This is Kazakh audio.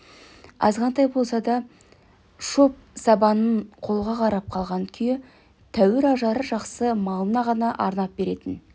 азғантай болса да шоп сабанын қолға қарап қалған күйі тәуір ажары жақсы малына ғана арнап беретін